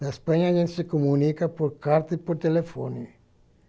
Na Espanha, a gente se comunica por carta e por telefone.